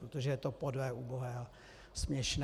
Protože je to podlé, ubohé a směšné.